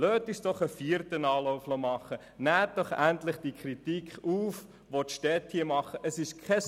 Lassen Sie uns einen vierten Anlauf nehmen, nehmen Sie endlich die von den Städten vorgebrachte Kritik auf!